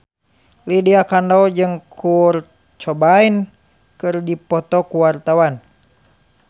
Lydia Kandou jeung Kurt Cobain keur dipoto ku wartawan